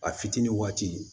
A fitinin waati